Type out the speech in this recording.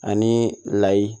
Ani layi